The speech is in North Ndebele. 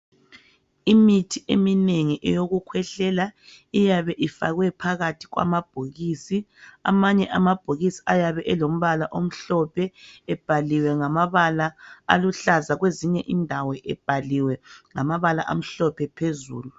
Imithi eminegi eyokukhwehlela iyabe ifakwe phakathi kwamabhokisi. Amanye amabhokisi ayabe elombala omhlophe ebhaliwe ngamabala aluhlaza kwezinye indawo ebhaliwe ngamabala amhlophe phezulu.